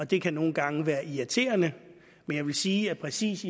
det kan nogle gange være irriterende men jeg vil sige at præcis